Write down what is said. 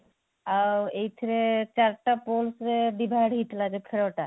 ଆଉ ଏଇଥିରେ ଚାରି ଟା post ରେ divide ହେଇଥିଲା ସେ ଖେଳ ଟା